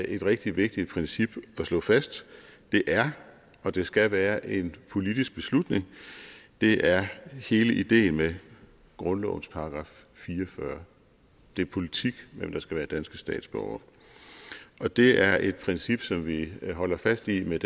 et rigtig vigtigt princip at slå fast det er og det skal være en politisk beslutning det er hele ideen med grundlovens § fire og fyrre det er politik hvem der skal være danske statsborgere og det er et princip som vi holder fast i med